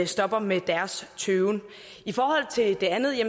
stopper med deres tøven i forhold til det andet er